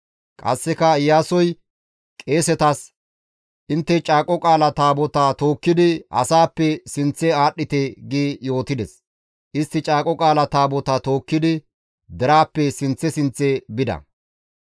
Qasseka Iyaasoy qeesetas, «Intte Caaqo Qaala Taabotaa tookkidi asaappe sinththe aadhdhite» gi yootides; istti Caaqo Qaala Taabotaa tookkidi deraappe sinththe sinththe bida.